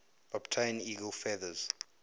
obtain eagle feathers